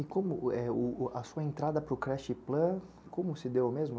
E a sua entrada para o Crest Plan, como se deu mesmo?